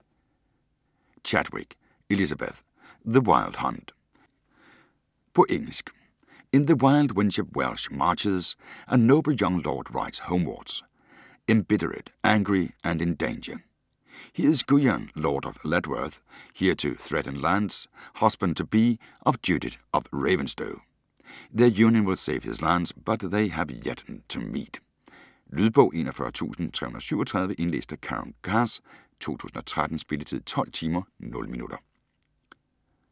Chadwick, Elizabeth: The wild hunt På engelsk. In the wild, windswept Welsh marches a noble young lord rides homewards, embittered, angry and in danger. He is Guyon, lord of Ledworth, heir to threatened lands, husband-to-be of Judith of Ravenstow. Their union will save his lands - but they have yet to meet. Lydbog 41337 Indlæst af Karen Cass, 2013. Spilletid: 12 timer, 0 minutter.